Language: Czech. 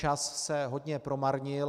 Čas se hodně promarnil.